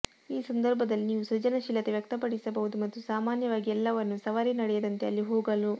ಈ ಸಂದರ್ಭದಲ್ಲಿ ನೀವು ಸೃಜನಶೀಲತೆ ವ್ಯಕ್ತಪಡಿಸಬಹುದು ಮತ್ತು ಸಾಮಾನ್ಯವಾಗಿ ಎಲ್ಲವನ್ನೂ ಸವಾರಿ ನಡೆಯದಂತೆ ಅಲ್ಲಿ ಹೋಗಲು